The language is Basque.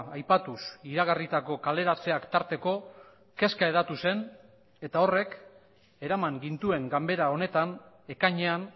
aipatuz iragarritako kaleratzeak tarteko kezka hedatu zen eta horrek eraman gintuen ganbera honetan ekainean